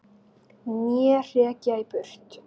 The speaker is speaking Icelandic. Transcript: Né hrekja í burt!